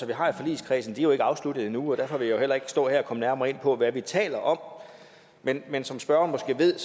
vi har i forligskredsen er jo ikke afsluttet endnu og derfor vil jeg heller ikke stå her og komme nærmere ind på hvad vi taler om men men som spørgeren måske ved